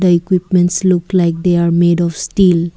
the equipments look like they are made of steel.